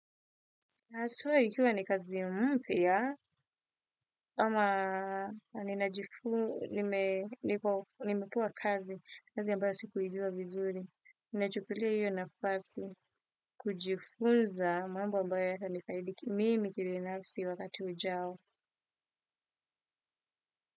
Haswa ikiwa ni kazi mpya, ama ninajifu, nimepewa kazi, kazi ambayo sikuijua vizuri. Ninachukulia hiyo nafasi, kujifunza, mambo ambayo yatanifaidi kimimi kibinafsi wakati ujao.